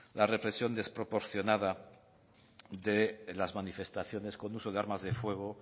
la represión desproporcionada de las manifestaciones con uso de armas de fuego